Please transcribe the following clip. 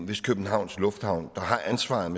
hvis københavns lufthavn der har ansvaret